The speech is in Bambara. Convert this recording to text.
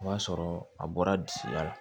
O b'a sɔrɔ a bɔra disi la